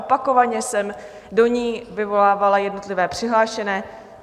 Opakovaně jsem do ní vyvolávala jednotlivé přihlášené.